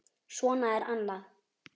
Svo er annað.